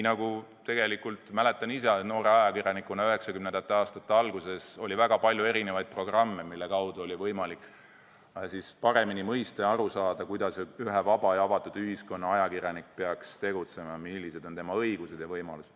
Ma mäletan oma noore ajakirjaniku aegadest, et 1990. aastate alguses oli väga palju erinevaid programme, mille toel oli võimalik paremini aru saada, kuidas ühe vaba ja avatud ühiskonna ajakirjanik peaks tegutsema, millised on tema õigused ja võimalused.